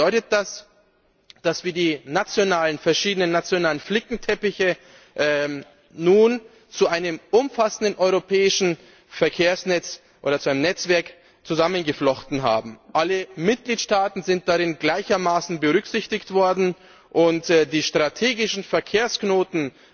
Konkret bedeutet das, dass wir die verschiedenen nationalen Flickenteppiche nun zu einem umfassenden europäischen Verkehrsnetzwerk zusammengeflochten haben. Alle Mitgliedstaaten sind darin gleichermaßen berücksichtigt worden und die strategischen Verkehrsknoten